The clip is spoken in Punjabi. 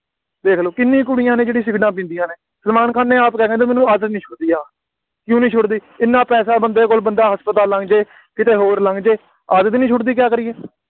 ਦੇਖ ਲਓ ਕਿੰਨੀ ਕੁੜੀਆਂ ਨੇ ਜਿਹੜੀਆਂ ਸਿਗਰੇਟਾਂ ਪੀਂਦੀਆਂ ਨੇ, ਸਲਮਾਨ ਨੇ ਆਪ ਕਿਹਾ ਸੀ ਮੈਨੂੰ ਆਦਤ ਨਹੀਂ ਛੁੱਟਦੀ ਆਹ, ਕਿਉਂ ਨਹੀਂ ਛੁੱਟਦੀ, ਐਨਾ ਪੈਸਾ ਬੰਦੇ ਕੋਲ, ਬੰਦਾ ਹਸਪਤਾਲ ਲੰਘ ਜਾਵੇ, ਕਿਤੇ ਹੋਰ ਲੰਘ ਜਾਵੇ, ਆਦਤ ਹੀ ਨਹੀਂ ਛੁੱਟਦੀ, ਕਿਆ ਕਰੀਏ,